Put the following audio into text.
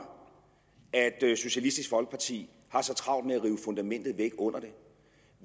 at socialistisk folkeparti har så travlt med at rive fundamentet væk under